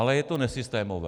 Ale je to nesystémové.